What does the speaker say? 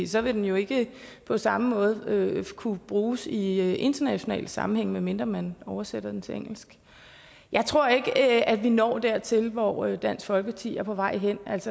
så vil den jo ikke på samme måde kunne bruges i international sammenhæng medmindre man oversætter den til engelsk jeg tror ikke at vi når dertil hvor hvor dansk folkeparti er på vej hen